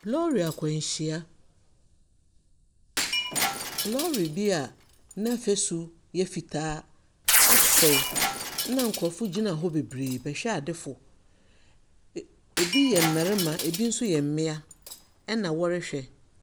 Lɔɔre akwanhyia, lɔɔre bi a n'afasu yɛ fitaa asɛe, ɛna nkurɔfo gyina hɔ bebree, bɛhwɛadefo. Bi yɛ mmarima, bi nso yɛ mmea ɛna wɔrehwɛ.